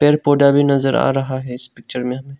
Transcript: एक पौधा भी नजर आ रहा है इस पिक्चर में।